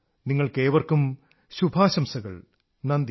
നിങ്ങൾക്കേവർക്കും ശുഭാശംസകൾ നന്ദി